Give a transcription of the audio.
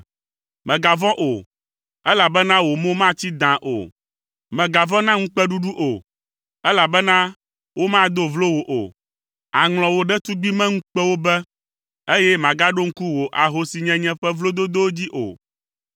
“Mègavɔ̃ o, elabena wò mo matsi dãa o. Mègavɔ̃ na ŋukpeɖuɖu o, elabena womado vlo wò o. Àŋlɔ wò ɖetugbimeŋukpewo be, eye màgaɖo ŋku wò ahosinyenye ƒe vlododowo dzi o,